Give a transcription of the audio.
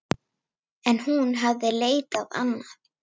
En hún hafði leitað annað.